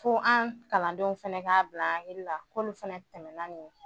Ko an kalandenw fana k'a bila an hakili la k'olu fana tɛmɛn naani ye.